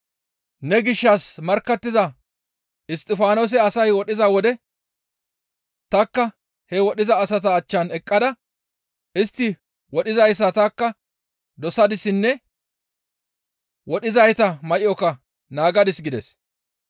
Ne gishshas markkattiza Isttifaanose asay wodhiza wode tanikka he wodhiza asata achchan eqqada istti wodhizayssa tanikka dosadissenne wodhizayta may7oka naagadis› gides.